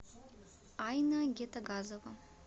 айна гетагазова